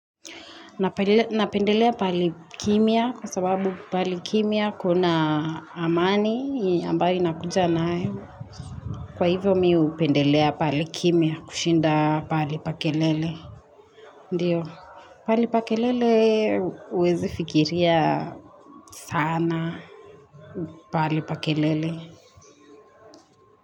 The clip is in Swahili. Napendelea paalikimya kwa sababu paalikimya kuna amani ambayo inakuja nayo. Kwa hivyo mi upendelea paalikimya kushinda paalipakelele. Ndiyo, paalipakelele uwezi fikiria sana paalipakelele.